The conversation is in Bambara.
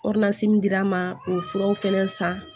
min dira n ma o furaw fɛnɛ san